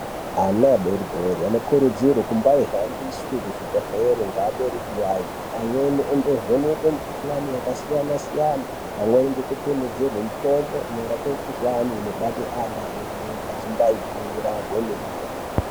Ana adori dori anokurudzirwe kumbahambiswe kuzvibhedlere ngeabereki yayo. Amweni ondovhenekwe mikuhlani yakasiyana-siyana pamweni ngekutonhedzerwe mitombo inorape mikuhlani inobate ana adori- dori achimbaikura kwemene.